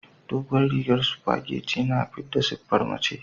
Dogon rigar supageti yana fidda siffar mace.